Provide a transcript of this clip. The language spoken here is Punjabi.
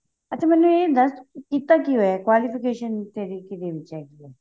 ਅੱਛਾ ਮੈਨੂੰ ਇਹ ਦੱਸ ਤੂੰ ਕੀਤਾ ਕੀ ਹੋਇਆ qualification ਤੇਰੀ ਕੀਹਦੇ ਵਿੱਚ ਹੈਗੀ